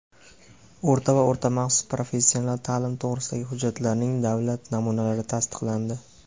o‘rta va o‘rta maxsus professional taʼlim to‘g‘risidagi hujjatlarning davlat namunalari tasdiqlandi.